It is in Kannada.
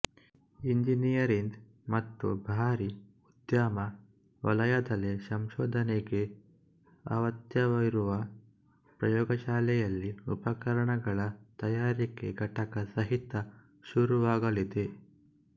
ಇಂಜಿನಿಯರಿಂದ್ ಮತ್ತು ಭಾರಿ ಉದ್ಯಮ ವಲಯದಲ್ಲಿ ಸಂಶೋಧನೆಗೆ ಅವತ್ಯವಿರುವ ಪ್ರಯೋಗಶಾಲೆಯಲ್ಲಿ ಉಪಕರಣಗಳ ತಯಾರಿಕಾ ಘಟಕ ಸಹಿತ ಶುರುವಾಗಲಿದೆ